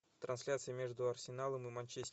трансляция между арсеналом и манчестер